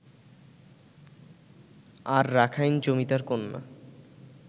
আর Rakhine জমিদার-কন্যা